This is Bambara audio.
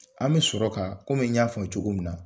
An be sɔrɔ ka komi n y'a fɔ cogo min na